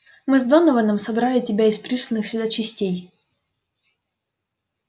мы с донованом собрали тебя из присланных сюда частей